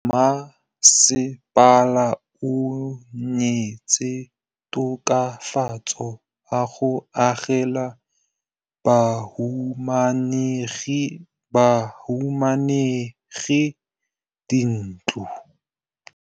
Mmasepala o neetse tokafatsô ka go agela bahumanegi dintlo.